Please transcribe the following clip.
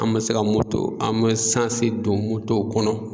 An man se ka an mɛ sansi don motow kɔnɔ.